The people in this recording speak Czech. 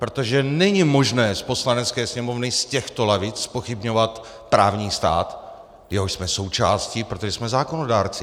Protože není možné z Poslanecké sněmovny, z těchto lavic zpochybňovat právní stát, jehož jsme součástí, protože jsme zákonodárci.